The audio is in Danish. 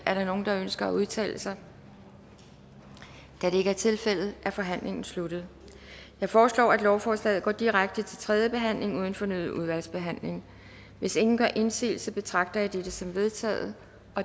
er der nogen der ønsker at udtale sig da det ikke er tilfældet er forhandlingen sluttet jeg foreslår at lovforslaget går direkte til tredje behandling uden fornyet udvalgsbehandling hvis ingen gør indsigelse betragter jeg dette som vedtaget